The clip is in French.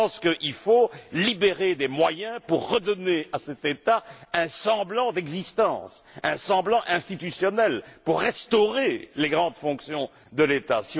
Je pense qu'il faut libérer des moyens pour redonner à cet État un semblant d'existence, un semblant institutionnel pour restaurer les grandes fonctions de l'État.